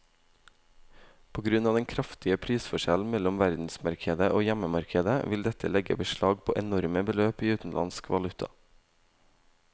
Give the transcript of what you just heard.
På grunn av den kraftige prisforskjellen mellom verdensmarkedet og hjemmemarkedet vil dette legge beslag på enorme beløp i utenlandsk valuta.